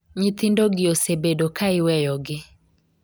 nyithindo gi osebedo ka iweyo gi